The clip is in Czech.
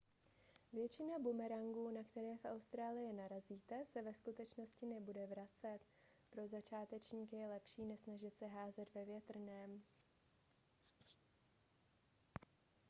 většina bumerangů na které v austrálii narazíte se ve skutečnosti nebude vracet pro začátečníky je lepší nesnažit se házet ve větrném